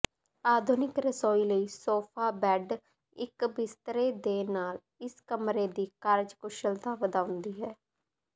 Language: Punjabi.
ਆਧੁਨਿਕ ਰਸੋਈ ਲਈ ਸੋਫਾ ਬੈੱਡ ਇਕ ਬਿਸਤਰੇ ਦੇ ਨਾਲ ਇਸ ਕਮਰੇ ਦੀ ਕਾਰਜਕੁਸ਼ਲਤਾ ਵਧਾਉਂਦੀ ਹੈ